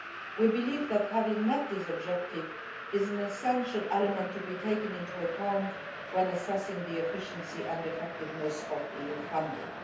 We believe that having met this objective is an essential element to be taken into account when assessing the efficiency and effectiveness of EU funding.